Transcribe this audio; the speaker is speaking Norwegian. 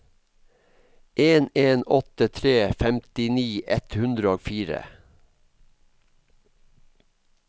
en en åtte tre femtini ett hundre og fire